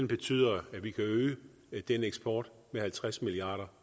betyder at vi kan øge den eksport med halvtreds milliard